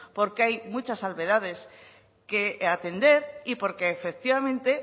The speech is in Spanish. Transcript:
porque hay muchas salvedades que atender y porque efectivamente